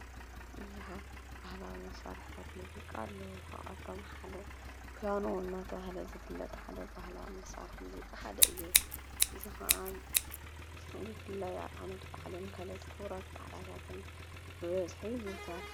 ብዙኃት ባህላ መሠርሕታት ሙዚቃ ኣለዉ ካብ ኣቶም ሓደ ፑያኑ ናተ ሃለ ዘፍለጥ ሓደ ባህላዋ መሠርሕ ሙዚቃ ሓደ እዩ ዝኸዓ ዘፍለ ኣብ ዓመት ባዕልን ከለቲ ኽብረት ባዕላታትን ብወዝሒ ይዝውተር።